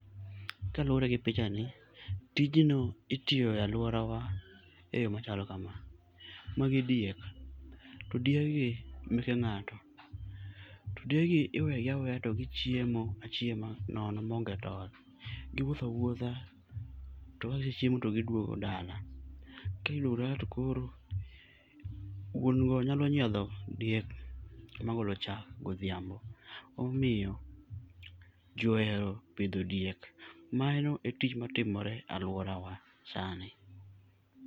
Kaluwore gi pichani, tijno itiyo e aluorawa eyo machalo kama. Magi diek, to diegi meke ng'ato. To diegi iwegi aweya to gichiemo achiema nono maonge tol. Giwuotho awuotha to kagisechiemo to giduogo dala. Kagiduogo dala to wuon go nyalo nyiedho diek magolo chak godhiambo. Emomiyo ji ohero pidho diek. Mano etich matimore aluorawa sani.